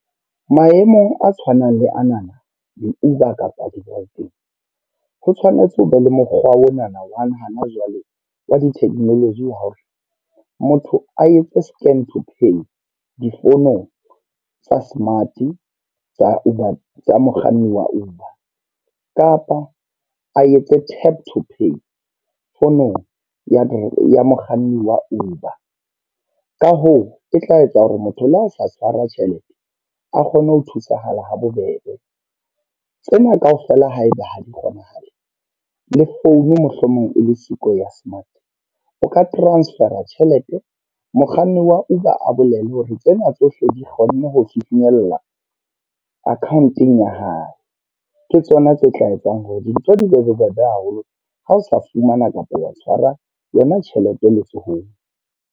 Maemong a tshwanang le anana di-Uber kapa dibankeng. Ho tshwanetse ho be le mokgwa onana wa hana jwale wa di-technology wa hore motho a etse scan to pay difounong tsa smart tsa Uber, tsa mokganni wa Uber. Kapa a etse tap to pay founong ya mokganni wa Uber. Ka hoo, e tla etsa hore motho le ha o sa tshwara tjhelete, a kgone ho thusahala habobebe. Tsena kaofela ha eba ha di kgonahale, le founu mohlomong e le siko ya smart. O ka transfer-a tjhelete, mokganni wa Uber a bolele hore tsena tsohle di kgonne ho finyella account-eng ya hae. Ke tsona tse tla etsang hore dintho di be bobebe haholo, ha o sa fumana kapa wa tshwara yona tjhelete letsohong.